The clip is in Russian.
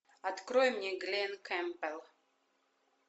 открой мне глен кэмпбелл